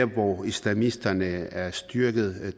hvor islamisterne er styrket